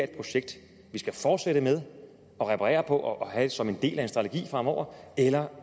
projekt vi skulle fortsætte med reparere på og have som en del af en strategi fremover eller